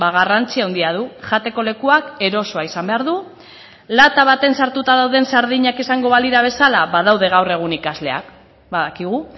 garrantzi handia du jateko lekuak eroso izan behar du lata batean sartuta dauden sardinak izango balira bezala badaude gaur egun ikasleak badakigu